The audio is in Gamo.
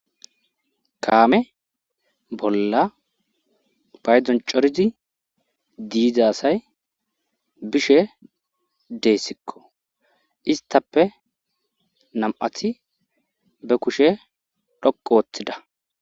Kaame bolla paydzon corizi diiza asay bishe deessikko istappe nam7athi be kushe dhoqu ooththida